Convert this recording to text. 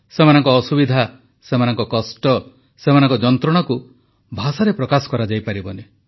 ସେମାନଙ୍କ ଅସୁବିଧା ସେମାନଙ୍କ କଷ୍ଟ ସେମାନଙ୍କ ଯନ୍ତ୍ରଣାକୁ ଭାଷାରେ ପ୍ରକାଶ କରାଯାଇପାରିବନି